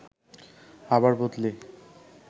আবার বদলি